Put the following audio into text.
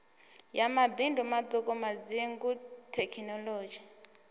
ya mabindu maṱuku madzingu thekinolodzhi